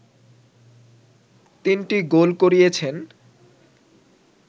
তিনটি গোল করিয়েছেন